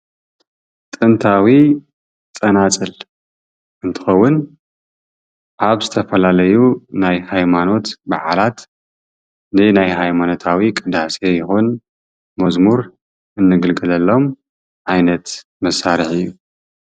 ጥንታዊ ፀናፅል እንትኸዉን ኣብ ዝተፋላለዩ ናይ ሃይማኖት ብዓላት ንናይ ሃይማኖታዊ ቅዳሴ ይኹን መዝሙር እንግልገለሎም ዓይነት መሳርሒ እዩ።